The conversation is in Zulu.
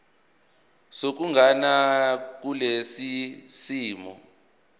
sokuganana kulesi simo